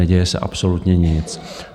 Neděje se absolutně nic.